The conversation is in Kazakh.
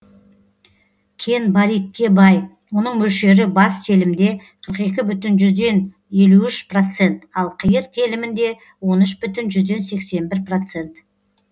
кен баритке бай оның мөлшері бас телімде қырық екі бүтін жүзден елу үш процент ал қиыр телімінде он үш бүтін жүзден сексен бір процент